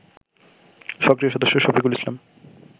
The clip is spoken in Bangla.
সক্রিয় সদস্য শফিকুল ইসলাম